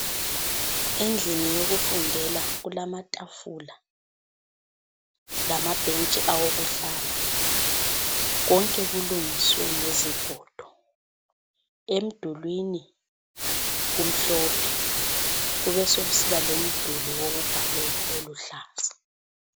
Endlini yokufundela kulamatafula lamabhentshi awokuhlala, konke kulungiswe ngezigodo. Emdulwini kumhlophe, kubesekusiba lomduli wokubhalela oluhlaza.